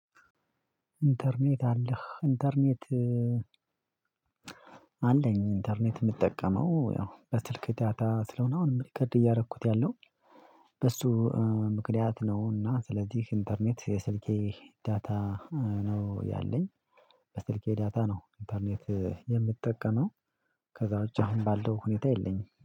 ኢንተርኔት አለህ? ኢንተርኔት አለኝ። ኢንተርኔት የምጠቀመው ያው በስልክ ዳታ ስለሆነ አሁን የምቀድ እያደረኩት ያለው በሱ ምክንያት ነው። እና ስለዚህ ኢንተርኔት የስልኬ ዳታ ነው ያለኝ። በስልኬ ዳታ ነው። ኢንተርኔት የምትጠቀመው? ከዛ እጅ አሁን ባለው ሁኔታ የለኝም